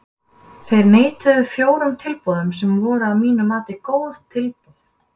Þeir neituðu fjórum tilboðum sem voru að mínu mati góð tilboð.